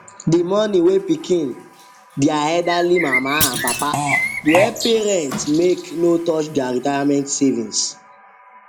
de money wey pikin dia elderly mama and papa go help parents make no touch their retirement saving